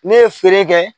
Ne ye feere kɛ